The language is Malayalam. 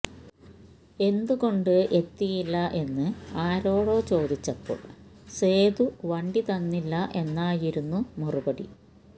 എന്തുകൊണ്ട് എത്തിയില്ല എന്ന് ആരോടോ ചോദിച്ചപ്പോൾ സേതു വണ്ടി തന്നില്ല എന്നായിരുന്നു മറുപടി